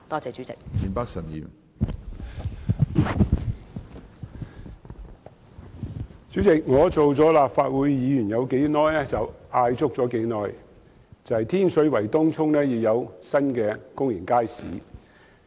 主席，自我出任立法會議員以來，便一直要求當局在天水圍和東涌設立新公眾街市。